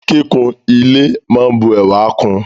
Kíkún ile máa n bu ẹwà kún ùn.